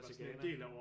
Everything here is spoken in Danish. Tage til Ghana